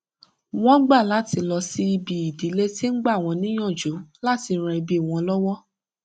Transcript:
wọn gbà láti lọ síbi ìdílé tí ń gbà wón níyànjú láti ran ẹbí wọn lówó